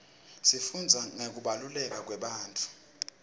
sifundza ngekubaluleka kwebantfu